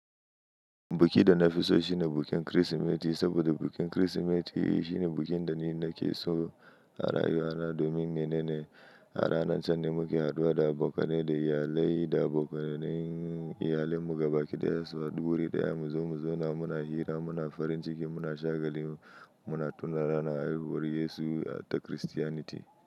Buki da na fi so shine bukin Kirsimeti saboda bukin Kirsimeti shine bukin da ni nake so a rayuwa na domin menene a ranar can ne muke haduwa da abokanai da iyalai da abokanayin iyalin mu gaba ɗaya su hadu wuri ɗaya mu zaune mu zauna muna hira muna farin ciki muna shagali muna tunawa ranar haihuwar Yesu ta Kiristiyaniti.